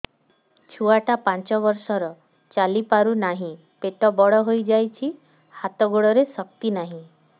ଛୁଆଟା ପାଞ୍ଚ ବର୍ଷର ଚାଲି ପାରୁ ନାହି ପେଟ ବଡ଼ ହୋଇ ଯାଇଛି ହାତ ଗୋଡ଼ରେ ଶକ୍ତି ନାହିଁ